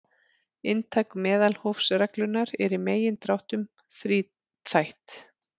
Inntak meðalhófsreglunnar er í megindráttum þríþætt.